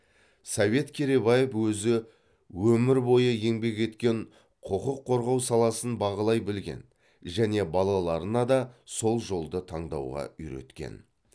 совет керейбаев өзі өмір бойы еңбек еткен құқық қорғау саласын бағалай білген және балаларына да сол жолды таңдауға үйреткен